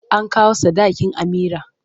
An kawo sadakin Amira.